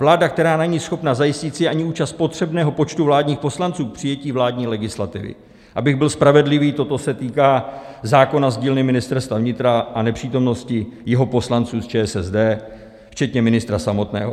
Vláda, která není schopna zajistit si ani účast potřebného počtu vládních poslanců k přijetí vládní legislativy, abych byl spravedlivý, toto se týká zákona z dílny Ministerstva vnitra a nepřítomnosti jeho poslanců z ČSSD, včetně ministra samotného.